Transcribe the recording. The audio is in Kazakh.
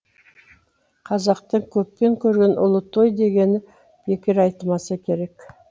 қазақтың көппен көрген ұлы той дегені бекер айтылмаса керек